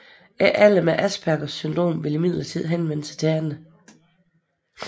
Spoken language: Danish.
Ikke alle med Aspergers syndrom vil imidlertid henvende sig til andre